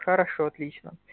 хорошо отлично